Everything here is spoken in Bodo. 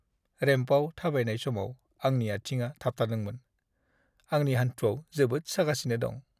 रेम्पआव थाबायनाय समाव आंनि आथिङा थाबथादोंमोन। आंनि हानथुआव जोबोद सागासिनो दं।